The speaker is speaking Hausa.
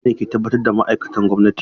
Zaɓe ne ke tabbatar da ma’aikatan gwamnati.